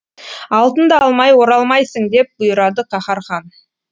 алтынды алмай оралмайсың деп бұйырады каһар хан